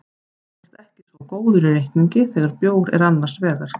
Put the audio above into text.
Þú ert ekki svo góður í reikningi þegar bjór er annars vegar.